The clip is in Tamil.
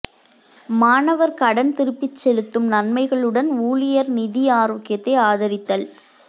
மாணவர் கடன் திருப்பிச் செலுத்தும் நன்மைகளுடன் ஊழியர் நிதி ஆரோக்கியத்தை ஆதரித்தல்